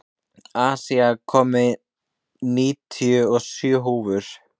Asía, ég kom með níutíu og sjö húfur!